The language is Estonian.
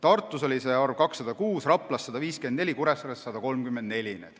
Tartus oli see arv 206, Raplas 154, Kuressaares 134.